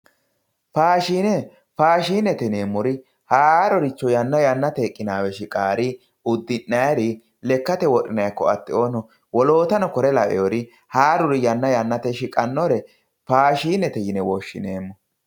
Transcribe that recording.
faashine faashinete yineemmori haarori yanna yannateyi shiqawoori uddi'nayiiri lekkate wodhinaiiri wolootano kuri"u lawonnori haaruri yanna yannateyi shiqannore faashinete yine woshshineemmo